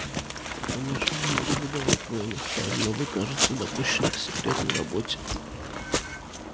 я конечно не могу выдавать военных тайн но вы кажется допущены к секретной работе